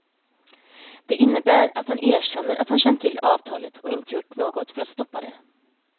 Det innebär att han erkänner att han känt till avtalet och inte gjort något för att stoppa det.